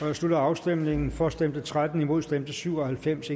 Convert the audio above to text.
jeg slutter afstemningen for stemte tretten imod stemte syv og halvfems